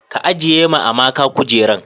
ka ajiye ma amaka kujeran